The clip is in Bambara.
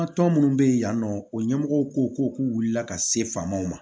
An ka tɔn minnu bɛ yen nɔ o ɲɛmɔgɔw ko ko k'u wulila ka se faamaw ma